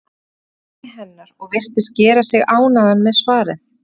Hann fór að dæmi hennar og virtist gera sig ánægðan með svarið.